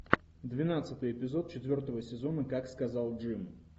двенадцатый эпизод четвертого сезона как сказал джим